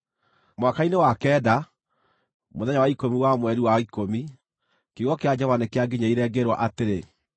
Mwaka-inĩ wa kenda, mũthenya wa ikũmi wa mweri wa ikũmi, kiugo kĩa Jehova nĩkĩanginyĩrĩire, ngĩĩrwo atĩrĩ: